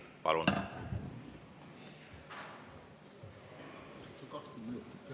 Palun!